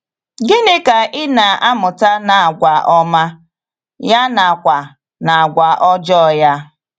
Gịnị Ka ị na - amụta n’agwà ọma, ya nakwa n’agwà ọjọọ ya?